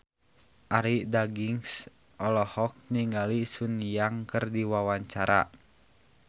Arie Daginks olohok ningali Sun Yang keur diwawancara